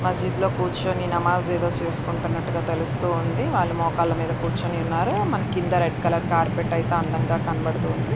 మసీదు లో కూర్చొని నమాజ్ ఏదో చేసుకుంటున్నట్టుగా తెలుస్తూ ఉంది. వాళ్ళు మోకాళ్ళ మీద కూర్చొని ఉన్నారు. మన కింద రెడ్ కలర్ కార్పెట్ అయితే అందంగా కనబడుతోంది.